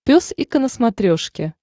пес и ко на смотрешке